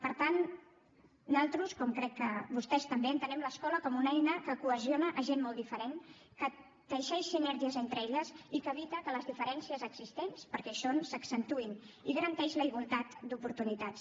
per tant nosaltres com crec que vostès també entenem l’escola com una eina que cohesiona gent molt diferent que teixeix sinergies entre elles i que evita que les diferències existents perquè hi són s’accentuïn i garanteix la igualtat d’oportunitats